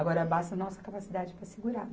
Agora basta a nossa capacidade para segurar.